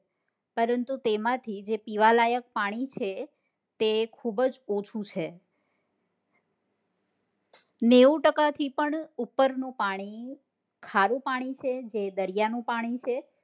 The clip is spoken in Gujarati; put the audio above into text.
પરંતુ તેમાં થી જે પીવા લાયક પાણી છે તે ખુબજ ઓછું છે નેવું ટકા થી પણ ઉપર નું પાણી ખારું પાણી છે જે દરિયા નું પાણી છે